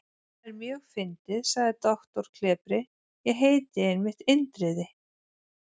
Það er mjög fyndið, sagði doktor klepri: Ég heiti einmitt Indriði.